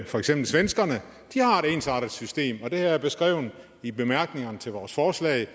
for eksempel svenskerne de har et ensartet system og det har jeg beskrevet i bemærkningerne til vores forslag